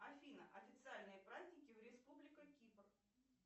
афина официальные праздники в республика кипр